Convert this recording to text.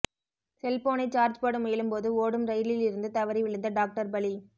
செல்போனை சார்ஜ் போட முயலும்போது ஓடும் ரயிலில் இருந்து தவறி விழுந்த டாக்டர் பலி